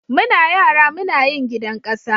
Muna yara Muna yin gidan kasa.